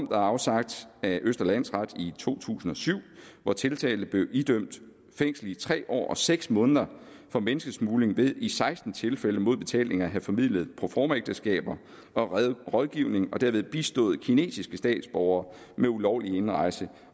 afsagt af østre landsret i to tusind og syv hvor tiltalte blev idømt fængsel i tre år og seks måneder for menneskesmugling ved i seksten tilfælde mod betaling at have formidlet proformaægteskaber og rådgivning og derved bistået kinesiske statsborgere med ulovlig indrejse